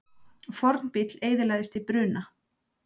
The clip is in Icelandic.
Fornbíll eyðilagðist í bruna